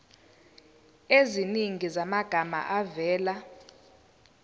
eziningi zamagama avela